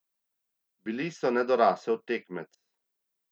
Bili so nedorasel tekmec.